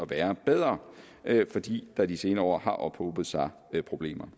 være bedre fordi der de senere år har ophobet sig problemer